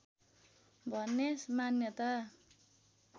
भन्ने मान्यता